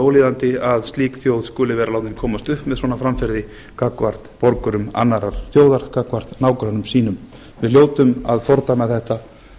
ólíðandi að slík þjóð skuli vera látin komast upp með svona framferði gagnvart borgurum annarrar þjóðar gagnvart nágrönnum sínum við hljótum að fordæma þetta